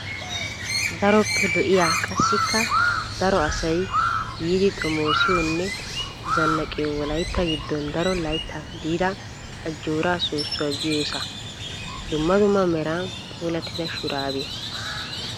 Daroppe lo"iyaa qassikka daro asayi yiidi xomoosiyoonne zannaqiyoy wolaytta giddon daro laytta diida Ajjoora soossuwa giyoosaa. Dumma dumma meran puulattida shuraabiyaa.